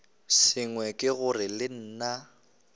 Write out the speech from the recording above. sengwe ke gore le nna